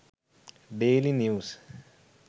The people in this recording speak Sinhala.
daily news